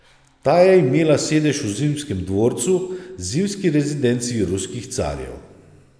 Ta je imela sedež v Zimskem dvorcu, zimski rezidenci ruskih carjev.